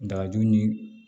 Dagaju ni